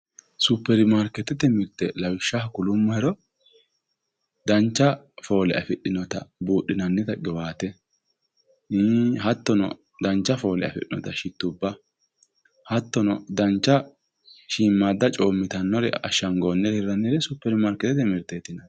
superimarikeetete mirte lawishshaho kulummohero dancha foole afidhinota buudhinannita qiwaate hattono dancha foole afidhinota shittubba hattono shiimmaadda coommitannore ashshangoonnire lawinori superimarikeettete mirteti